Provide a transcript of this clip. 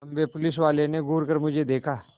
लम्बे पुलिसवाले ने घूर कर मुझे देखा